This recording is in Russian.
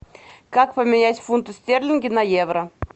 как поменять фунты стерлинги на евро